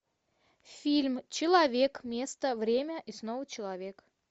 фильм человек место время и снова человек